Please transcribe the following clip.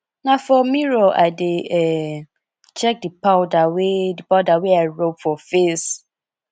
na for mirror i dey um check di powder wey di powder wey i rob for face